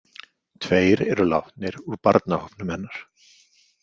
Tveir eru látnir úr barnahópnum hennar.